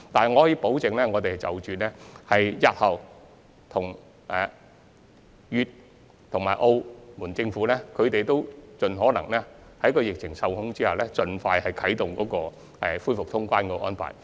我可以保證，我們日後會繼續與粵、澳政府溝通，盡可能在疫情受控的情況下，盡快恢復通關安排。